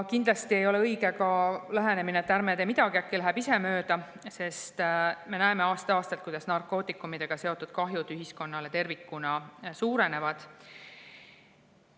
Kindlasti ei ole õige ka lähenemine, et ärme tee midagi, äkki läheb ise mööda, sest me näeme aasta-aastalt, kuidas narkootikumidega seotud kahjud ühiskonnale tervikuna suurenevad.